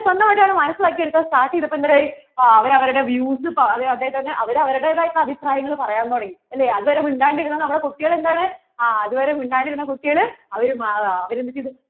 മനസിലാക്കി എടുക്കാൻ start ചെയ്തപോൾ എന്തായി? അവർ അവരുടെ views അതെ തന്നെ അവർ അവരുടേതായ അഭിപ്രായങ്ങൾ പറയാൻ തുടങ്ങി അല്ലെ അതുവരെ മിണ്ടാണ്ട് ഇരുന്ന നമ്മടെ കുട്ടികൾ എന്താണ് ആ അതുവരെ മിണ്ടാണ്ട് ഇരുന്ന നമ്മടെ കുട്ടികൾ അവർ